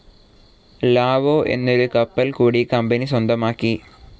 Lao എന്നൊരു കപ്പൽ കൂടി കമ്പനി സ്വന്തമാക്കി.